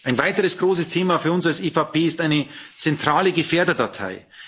Ein weiteres großes Thema für uns als EVP ist eine zentrale Gefährderdatei.